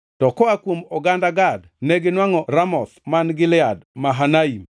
to koa kuom oganda Gad neginwangʼo Ramoth man Gilead, Mahanaim,